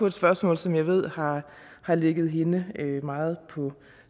et spørgsmål som jeg ved har har ligget hende meget på